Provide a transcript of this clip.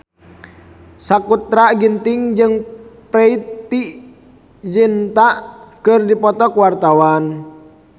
Sakutra Ginting jeung Preity Zinta keur dipoto ku wartawan